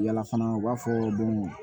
Yala fana u b'a fɔ don o don